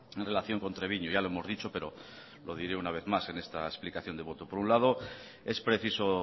en relación con treviño ya lo hemos dicho pero lo diré una vez más en esta explicación de voto por un lado es preciso